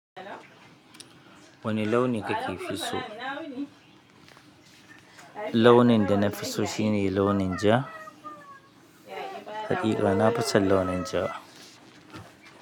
Wane launi kake fi so? Launin da nafi so shine launin ja. Haƙiƙa na fi san launin ja.